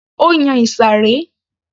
Ó yan ìsàré